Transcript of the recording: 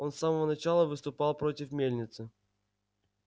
он с самого начала выступал против мельницы